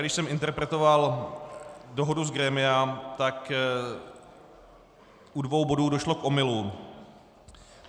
Když jsem interpretoval dohodu z grémia, tak u dvou bodů došlo k omylům.